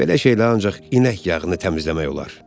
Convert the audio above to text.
Belə şeylər ancaq inək yağını təmizləmək olar.